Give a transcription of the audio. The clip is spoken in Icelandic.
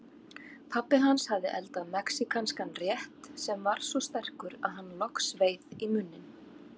Pabbi hans hafði eldað mexíkanskan rétt sem var svo sterkur að hann logsveið í munninn.